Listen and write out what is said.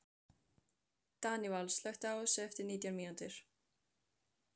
Daníval, slökktu á þessu eftir nítján mínútur.